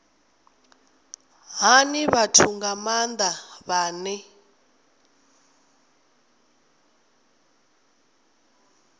hani vhathu nga maanda vhane